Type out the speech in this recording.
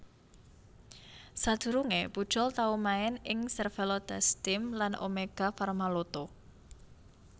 Sadurungé Pujol tau main ing Cervélo TestTeam lan Omega Pharma Lotto